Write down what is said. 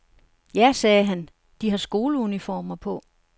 Ja, sagde han, de har skoleuniformer på.